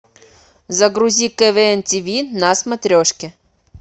загрузи квн тв на смотрешке